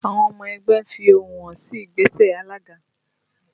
Àwọn ọmọ ẹgbẹ́ ń fi ẹ́hónú hàn sí ìgbésẹ̀ alága